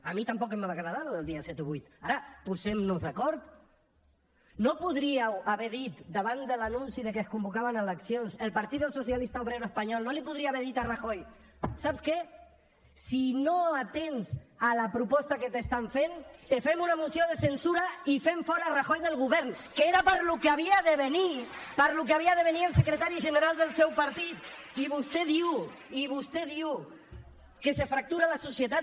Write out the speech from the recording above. a mi tampoc em va agradar allò dels dies set i vuit ara posem nos d’acord no podríeu haver dit davant de l’anunci de que es convocaven eleccions el partido socialista obrero español no li podria haver dit a rajoy saps què si no atens a la proposta que t’estan fent et fem una moció de censura i fem fora rajoy del govern que era pel que havia de venir pel que havia de venir el secretari general del seu partit ra la societat